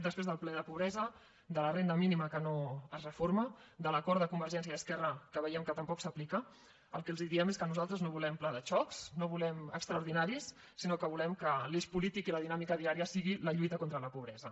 després del ple de pobresa de la renda mínima que no es reforma de l’acord de convergència i esquerra que veiem que tampoc s’aplica el que els diem és que nosaltres no volem plans de xoc no volem extraordinaris sinó que volem que l’eix polític i la dinàmica diària sigui la lluita contra la pobresa